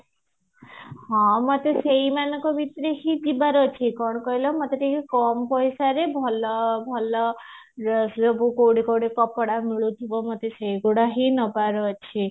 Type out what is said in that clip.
ହଁ ମତେ ସେଇମାନଙ୍କ ଭିତରୁ ହିଁ ଯିବାର ଅଛି କଣ କହିଲ ମତେ ଟିକେ କମ price ରେ ଭଲ ଭଲ କୋଉଠି କୋଉଠି କପଡା ମିଳୁଥିବ ଯେ ମତେ ସେଇଗୁଡା ହିଁ ନବାର ଅଛି